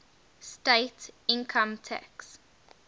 state income tax